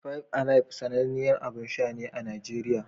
Five Alive sananniyar abin sha ne a Najeriya.